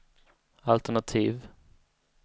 alternativ